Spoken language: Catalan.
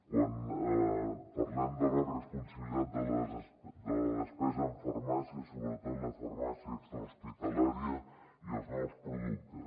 quan parlem de la responsabilitat de la despesa en farmàcia sobretot la farmàcia extrahospitalària i els nous productes